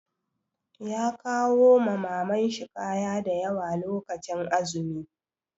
Ya kawo ma Maman shi kaya da yawa lokacin azumi.